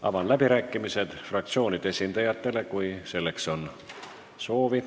Avan läbirääkimised fraktsioonide esindajatele, kui selleks on soovi.